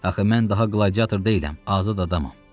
Axı mən daha qladiyator deyiləm, azad adamam.